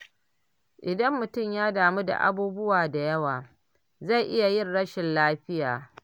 Idan mutum ya damu da abubuwa da yawa, zai iya yin rashin lafiya.